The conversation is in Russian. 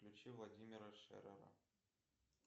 включи владимира шеррера